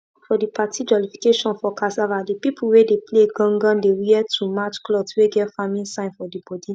for the party jollification for cassava the pipo wey dey play gangan dey wear too match clothes wey get farming sign for d body